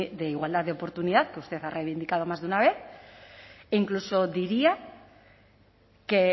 de igualdad de oportunidad que usted ha reivindicado más de una vez e incluso diría que